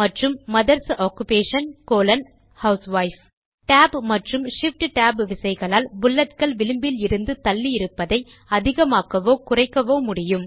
மற்றும் mother's occupation colon housewife Tab மற்றும் shift tab விசைகளால் புல்லட்கள் விளிம்பிலிருந்து தள்ளி இருப்பதை அதிகமாக்கவோ குறைக்கவோ முடியும்